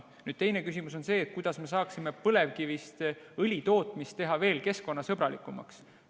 Nüüd teine küsimus on see, kuidas me saaksime põlevkivist õli tootmist teha veel keskkonnasõbralikumaks.